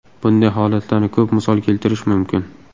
Bunday holatlarni ko‘p misol keltirish mumkin.